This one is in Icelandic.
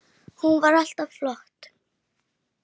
Hún var alltaf flott.